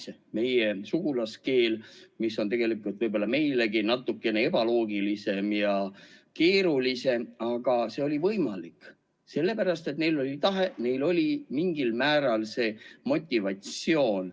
See on meie sugulaskeel ja see on tegelikult võib-olla meilegi natuke ebaloogiline ja keeruline, aga selle oli võimalik, sellepärast et neil oli tahe, neil oli mingil määral motivatsiooni.